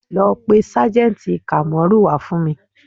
Lọ pé sájẹ̀ǹtì Kamoru wá fún mi